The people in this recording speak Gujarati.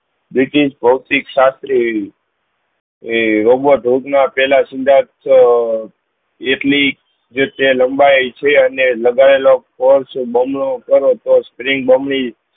ભોતિક એવી રોબા ટુંક માં પેહલા એટલી જે લંબાઈ છે અને લાગયેલો તો spring bomb ની